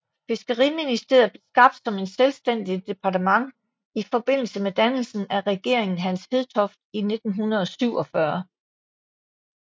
Fiskeriministeriet blev skabt som et selvstændigt departement i forbindelse med dannelsen af Regeringen Hans Hedtoft I i 1947